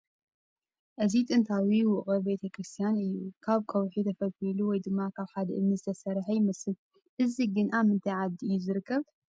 እዚ ጥንታዊ ውቕር ቤተ ክርስትያን እዩ፡ ካብ ከውሒ ተፈልፊሉ ወይ ድማ ካብ ሓደ ዕምኒ ዝተሰርሓ ይመስል ፡ እዚ ግን ኣብ ምንታይ ዓዲ እዩ ዝርከብ ?